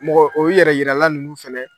Mɔgɔ o yɛrɛ jirala ninnu fɛnɛ.